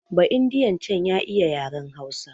Ba'indiyan can ya iya yaren Hausa